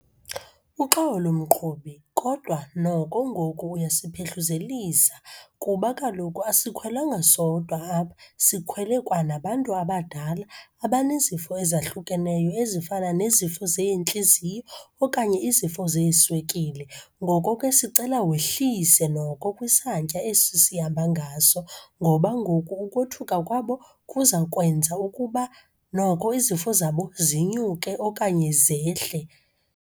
Uxolo mqhubi, kodwa noko ngoku uyasiphehluzelisa kuba kaloku asikhwelanga sodwa apha, sikhwele kwanabantu abadala abanezifo ezahlukeneyo ezifana nezifo zeentliziyo okanye izifo zeeswekile. Ngoko ke sicela wehlise noko kwisantya esi sihamba ngaso, ngoba ngoku ukothukwa kwabo kuza kwenza ukuba noko izifo zabo zinyuke okanye zehle.